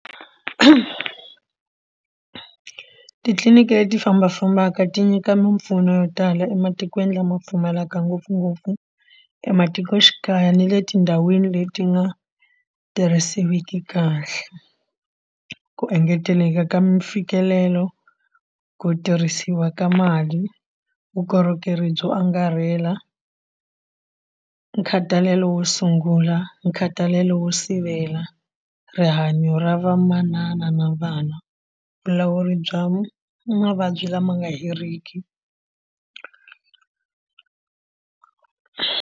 Titliliniki leti fambafambaka ti nyika mimpfuno yo tala ematikweni lama pfumalaka ngopfungopfu ematikoxikaya ni le tindhawini leti nga tirhisiwiki kahle. Ku engeteleka ka mfikelelo ku tirhisiwa ka mali vukorhokeri byo angarhela nkhathalelo wo sungula nkhatalelo wo sivela rihanyo ra vamanana na vana vulawuri bya mavabyi lama nga heriki.